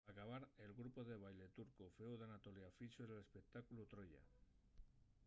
p’acabar el grupu de baille turcu fueu d’anatolia fixo l’espectáculu troya